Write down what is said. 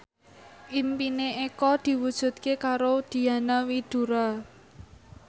impine Eko diwujudke karo Diana Widoera